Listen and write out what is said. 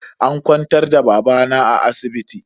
An kwantar da babana a asibiti.